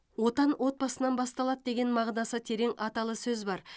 отан отбасынан басталады деген мағынасы терең аталы сөз бар